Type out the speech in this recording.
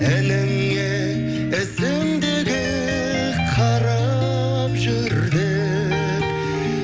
ініңе ізіңдегі қарап жүр деп